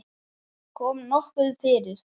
Kom nokkuð fyrir?